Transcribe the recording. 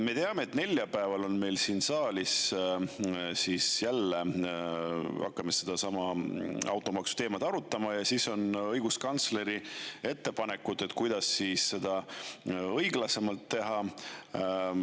Me teame, et neljapäeval me siin saalis hakkame jälle sedasama automaksu teemat arutama ja õiguskantsleril on siis ettepanekud, kuidas seda õiglasemalt teha.